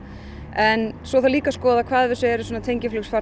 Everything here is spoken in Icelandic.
en svo þarf líka að skoða hvað af þessu eru